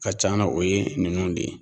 Ka can na o ye nunnuw de ye